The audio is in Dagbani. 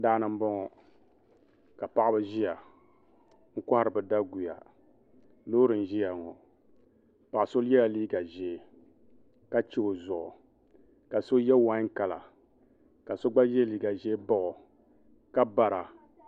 Daani n boŋo ka paɣaba ʒiya n kohari bi daguya loori n ʒiya ŋo paɣa so yɛla liiga ʒiɛ ka chɛ o zuɣu ka chɛ wain kala ka si gba yɛ liiga ʒiɛ baɣa o ka bara